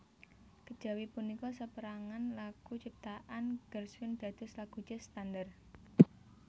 Kejawi punika saperangan lagu ciptaan Gershwin dados lagu jazz standar